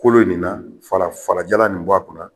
Kolon nin na fala falajalan nin bɔ a kun na